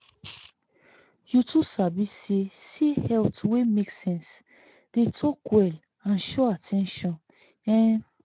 you too sabi say say health wey make sense dey talk well and show at ten tion. um